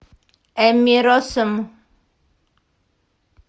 эмми россум